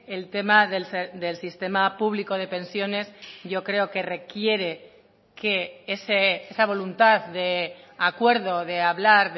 el tema del sistema público de pensiones yo creo que requiere que esa voluntad de acuerdo de hablar